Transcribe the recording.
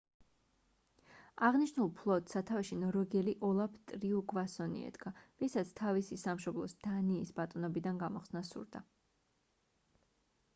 აღნიშნულ ფლოტს სათავეში ნორვეგიელი ოლაფ ტრიუგვასონი ედგა ვისაც თავისი სამშობლოს დანიის ბატონობიდან გამოხსნა სურდა